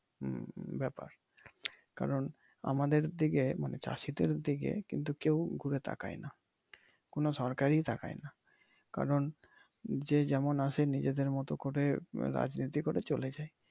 হম ব্যাপার কারন আমাদের দিকে মানি চাষি দের দিকে কিন্তু কেউ ঘুরে তাকায় নাহ ।কোন সরকারই তাকায় নাহ কারন যে যেমন আছে নিজেদের মত করে রাজনীতি করে চলে যায়।